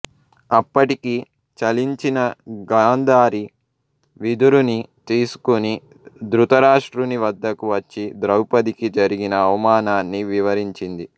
అప్పటికి చలించిన గాంధారి విదురుని తీసుకుని దృతరాష్ట్రుని వద్దకు వచ్చి ద్రౌపదికి జరిగిన అవమానాన్ని వివరించింది